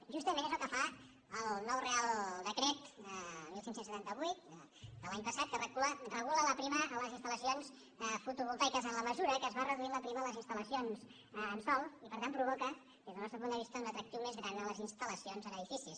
justament és el que fa el nou reial decret quinze setanta vuit de l’any passat que regula la prima a les instal·lacions fotovol·taiques en la mesura que es va reduint la prima a les instal·lacions en sòl i per tant provoca des del nostre punt de vista un atractiu més gran a les instal·lacions en edificis